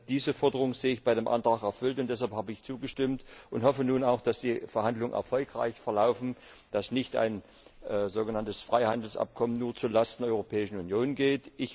Diese Forderung sehe ich bei dem Antrag erfüllt, und deshalb habe ich zugestimmt und hoffe nun auch, dass die Verhandlungen erfolgreich verlaufen, dass ein sogenanntes Freihandelsabkommen nicht nur zu Lasten der Europäischen Union geht.